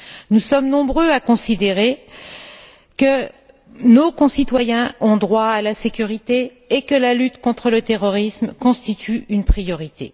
Nous sommes nombreux à considérer que nos concitoyens ont droit à la sécurité et que la lutte contre le terrorisme constitue une priorité.